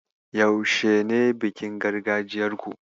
Yaushe ne bikin gargajiyarku?